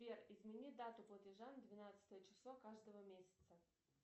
сбер измени дату платежа на двенадцатое число каждого месяца